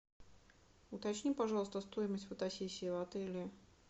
уточни пожалуйста стоимость фотосессии в отеле